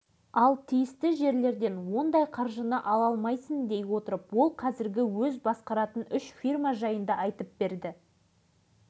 соның бірі ізденгіштік қасиеті ауыл шаруашылығы бізде кенжелеп қалғанын несіне жасырамыз оған үкімет тарапынан жылына қаншама